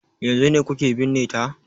Yanzun ne kuke binne ta?